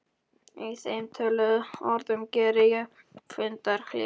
Í þeim töluðum orðum geri ég fundarhlé.